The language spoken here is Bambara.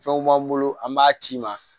Fɛnw b'an bolo an b'a ci ma